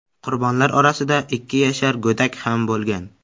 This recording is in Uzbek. Qurbonlar orasida ikki yashar go‘dak ham bo‘lgan.